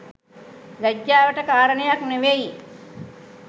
ලැජ්ජාවට කාරණයක් නෙවෙයි.